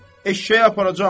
Eşşəyi aparacam.